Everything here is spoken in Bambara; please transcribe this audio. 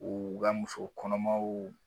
o ga musokɔnɔmaw